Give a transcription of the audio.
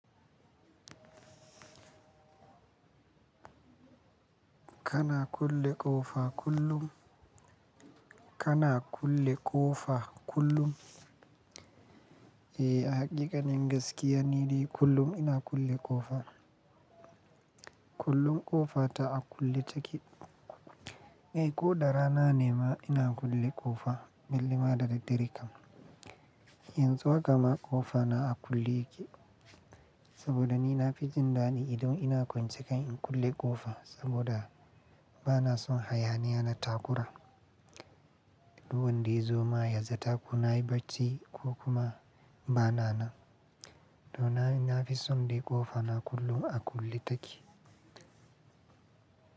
Kana kulle ƙofa kullum? Kana kulle ƙofa kullum? Eh, hakika, in gaskiya ni dai kullum ina kulle ƙofa. Kullum ƙofa ta a kulle take. Eh, ko da rana ne ma ina kulle ƙofa belle da dare kam. Yanzu haka ma ƙofa na a kulle yake. Saboda ni na fi jin daɗi idan ina kwance kan in kulle ƙofa saboda bana son hayaniya na takura. Duk wande ya zo ma yaza taku na ya baci ko kuma bana nan. Don haka ina fi son dai ƙofa na kullum a kulle take.